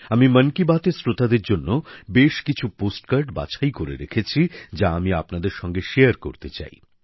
আমি মন কি বাত এর শ্রোতাদের জন্য বেশ কিছু পোস্ট কার্ড বাছাই করে রেখেছি যা আমি আপনাদের জানাতে চাই